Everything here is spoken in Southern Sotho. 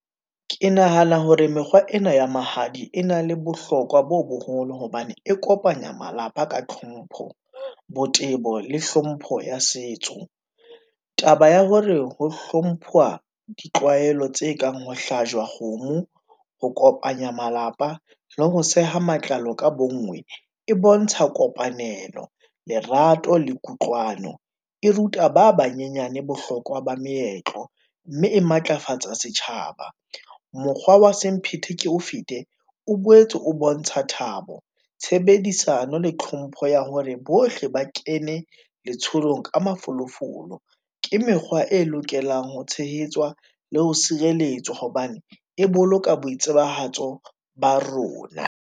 Ke nahana hore mekgwa ena ya mahadi e na le bohlokwa bo boholo hobane e kopanya malapa ka tlhompho, botebo le hlompho ya setso. Taba ya hore ho hlomphwa ditlwaelo tse kang ho hlajwa kgomo ho kopanya malapa le ho seha matlalo ka bonngwe e bontsha kopanelo. Lerato le kutlwano e ruta ba banyenyane bohlokwa ba meetlo mme e matlafatsa setjhaba. Mokgwa wa semphete ke o fete o boetse ng o bontsha thabo. Tshebedisano le tlhompho ya hore bohle ba kene letsholong ka mafolofolo, ke mekgwa e lokelang ho tshehetswa le ho sireletswa hobane e boloka boitsebahatso ba rona.